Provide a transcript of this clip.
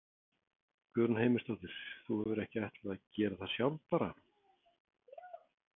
Guðrún Heimisdóttir: Þú hefur ekki ætlað að gera það sjálf bara?